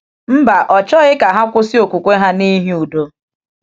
Mba, ọ chọghị ka ha kwụsị okwukwe ha n’ihi udo.